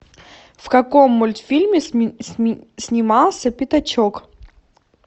в каком мультфильме снимался пятачок